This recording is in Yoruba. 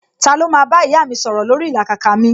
Ta ló máa bá ìyá mi sọ̀rọ̀ lórí ìlàkàkà mi